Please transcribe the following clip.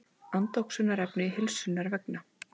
Andoxunarefni heilsunnar vegna.